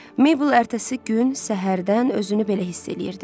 Maybel ertəsi gün səhərdən özünü belə hiss eləyirdi.